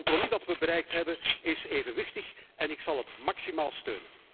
Het compromis dat we bereikt hebben is evenwichtig en ik zal het maximaal steunen.